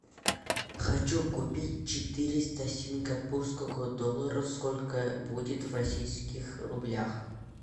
хочу купить четыреста сингапурского доллара сколько будет в российских рублях